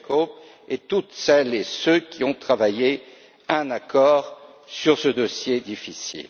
M. Kirkhope et toutes celles et ceux qui ont travaillé à un accord sur ce dossier difficile.